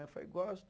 Aí eu falei, gosto.